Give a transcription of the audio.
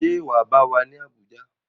Ṣé wà á bá wa ní Abuja?